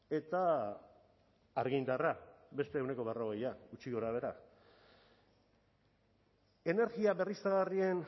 eta argindarra beste ehuneko berrogeia gutxi gorabehera energia berriztagarrien